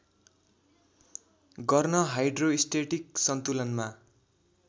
गर्न हाइड्रोस्टेटिक सन्तुलनमा